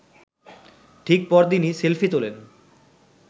ঠিক পরদিনই সেলফি তোলেন